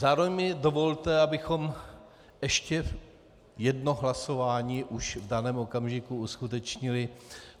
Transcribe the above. Zároveň mi dovolte, abychom ještě jedno hlasování už v daném okamžiku uskutečnili.